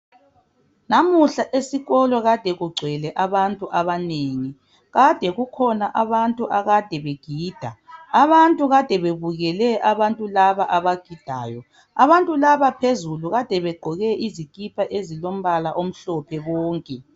Namuhla esikolo kade kugcwele abantu abanengi, kade kukhona abantu akade begida, abantu kade bebukele abantu laba abagidayo. Abantu laba phezulu kade begqoke izikipa ezilombala omhlophe bonke.